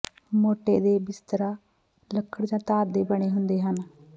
ਮੋਟੇ ਦਾ ਬਿਸਤਰਾ ਲੱਕੜ ਜਾਂ ਧਾਤ ਦੇ ਬਣੇ ਹੁੰਦੇ ਹਨ